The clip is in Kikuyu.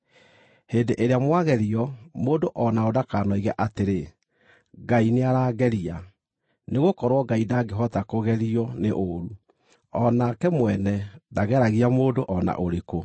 Hĩndĩ ĩrĩa mwagerio, mũndũ o naũ ndakanoige atĩrĩ, “Ngai nĩarangeria.” Nĩgũkorwo Ngai ndangĩhota kũgerio nĩ ũũru, o nake mwene ndageragia mũndũ o na ũrĩkũ;